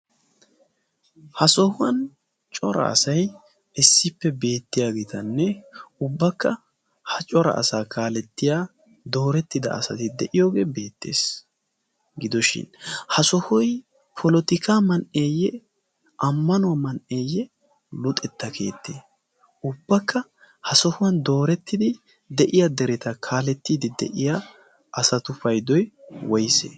ha sohuwan cora asay issippe beettiyaagiitanne ubbakka ha cora asaa kaalettiya doorettida asati de'iyoogee beettees gidoshin ha sohuy polotika man'eeyye ammanuwaa man'eeyye luxetta keettee ubbakka ha sohuwan doorettidi de'iya dereta kaalettiidi de'iya asatu paydowi woys ?